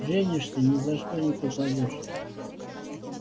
женишься ни за что пропадёшь